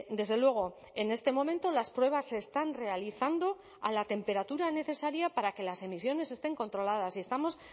desde luego en este momento las pruebas se están realizando a la temperatura necesaria para que las emisiones estén controladas y estamos